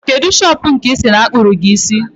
Kedụ shopụ̀ nke i si na-akpụrụ gi isi?